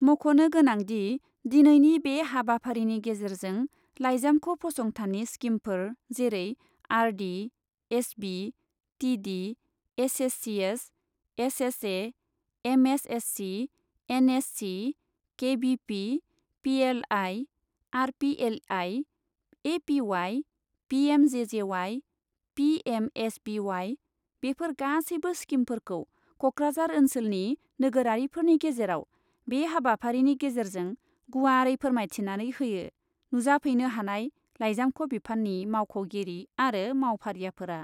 मख'नो गोनां दि, दिनैनि बे हाबाफारिनि गेजेरजों लाइजामख' फसंथाननि स्कीमफोर जेरै R D, S B, T D, S S C S, S S A, M S S C, N S C, K V P, P L I, R P L I, A P Y, P M J J Y, P M S B Y, बेफोर गासैबो स्कीमफोरखौ क'क्राझार ओन्सोलनि नोगोरारिफोरनि गेजेराव बे हाबाफारिनि गेजेरजों गुवारै फोरमायथिनानै होयो नुजाफैनो हानाय लाइजामख' बिफाननि मावख'गिरि आरो मावफारियाफोरा।